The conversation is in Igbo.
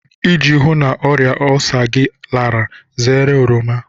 Iji hụụ na ọrịa olsa gị lara, zere oroma.